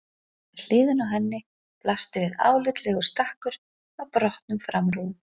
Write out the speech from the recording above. Við hliðina á henni blasti við álitlegur stakkur af brotnum framrúðum.